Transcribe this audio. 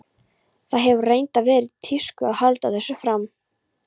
Það hefur reyndar verið í tísku að halda þessu fram.